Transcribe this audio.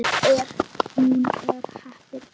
Hún er heppin.